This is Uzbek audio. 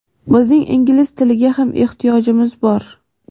bizning ingliz tiliga ham ehtiyojimiz bor.